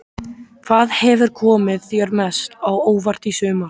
Hvað hefur komið þér mest á óvart í sumar?